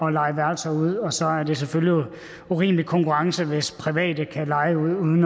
at leje værelser ud og så er det jo selvfølgelig urimelig konkurrence hvis private kan leje ud uden